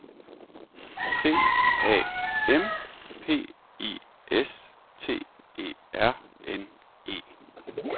C A M P I S T E R N E